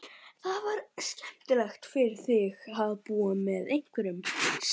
Það væri skemmtilegra fyrir þig að búa með einhverjum, segir